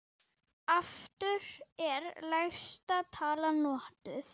Aftur er lægsta tala notuð.